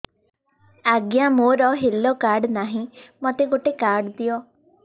ଆଜ୍ଞା ମୋର health card ନାହିଁ ମୋତେ ଗୋଟେ କାର୍ଡ ଦିଅ